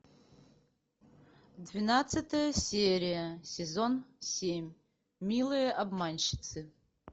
двенадцатая серия сезон семь милые обманщицы